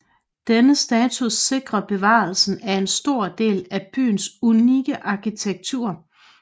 Denne status sikrer bevarelsen af en stor del af byens unikke arkitektur